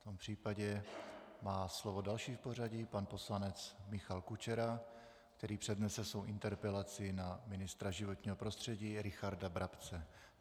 V tom případě má slovo další v pořadí pan poslanec Michal Kučera, který přednese svou interpelaci na ministra životního prostředí Richarda Brabce.